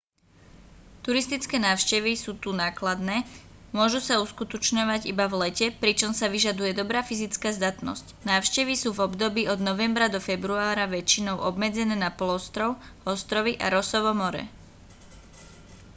turistické návštevy sú tu nákladné môžu sa uskutočňovať iba v lete pričom sa vyžaduje dobrá fyzická zdatnosť návštevy sú v období od novembra do februára väčšinou obmedzené na polostrov ostrovy a rossovo more